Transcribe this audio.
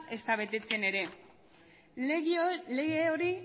ezta betetzen ere lege hori